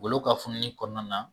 Olu ka Fununi kɔnɔna na